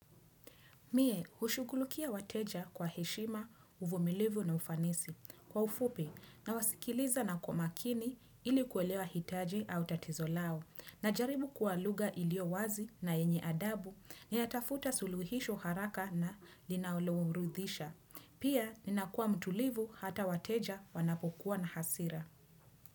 Mie, hushughulukia wateja kwa heshima uvumilivu na ufanisi kwa ufupi na wasikiliza na kwa makini ilikuelewa hitaji au tatizo lao. Najaribu kuwa lugha iliyo wazi na enye adabu natafuta suluhisho haraka na linalo ridhisha. Pia, ninakua mtulivu hata wateja wanapokuwa na hasira.